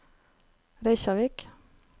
Reykjavík